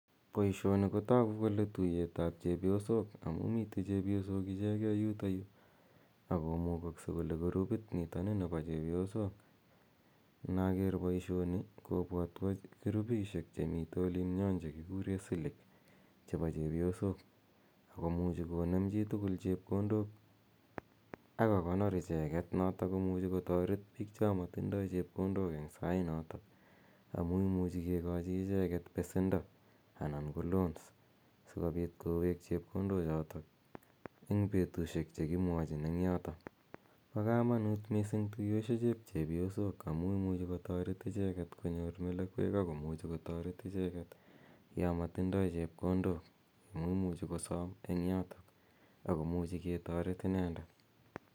Poishoni ko tagu kole tuyetap chepyosok amu mitei chepyosok ichege yutayu ak komugakse kole gurupit nitani nepo chepyosok. Inaker poishonu kopwatwa gurupishek che mitei olin nyon che kikure Silik chepo chepyosok. Ako muchi konem chi tugul chepkondok ako konor icheget notok ko muchi kotaret piik cha matindai chepkondok eng' sainatak amu imuchi kikachi icheget pesendo anan ko loans si kopit kowek chepkondochotok eng' petushek che kimwachin eng' yotok. Pa kamanut missing' tuyoshechep chepyosok amu imuchu kotaret icheget konyor melekwek ako kuchu kotaret icheget ya matindai chepkondok amu imuchi kosam eng' yotok ako muchi ketaret inendet.